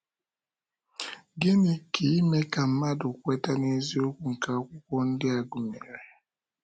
Gịnị ka ime ka mmadụ kweta n’eziokwu nke Akwụkwọ ndi a gụnyere?